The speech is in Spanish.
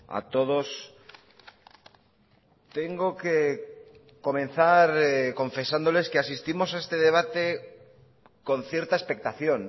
a todos tengo que comenzar confesándoles que asistimos a este debate con cierta expectación